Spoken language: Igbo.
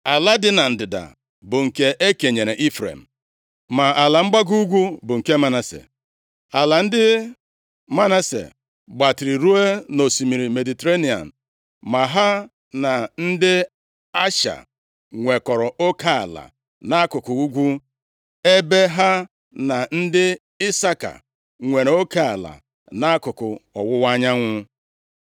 Ala dị na ndịda bụ nke e kenyere Ifrem, ma ala mgbago ugwu bụ nke Manase. Ala ndị Manase gbatịrị ruo nʼosimiri Mediterenịa ma ha na ndị Asha nwekọrọ oke ala nʼakụkụ ugwu, ebe ha na ndị Isaka nwere oke ala nʼakụkụ ọwụwa anyanwụ.